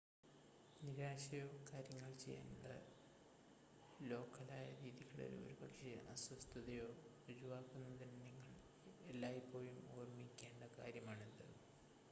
നിരാശയോ കാര്യങ്ങൾ ചെയ്യാനുള്ള ലോക്കലായ രീതികളിൽ ഒരുപക്ഷെ അസ്വസ്ഥതയോ ഒഴിവാക്കുന്നതിന് നിങ്ങൾ എല്ലായ്പ്പോഴും ഓർമ്മിക്കേണ്ട കാര്യമാണിത്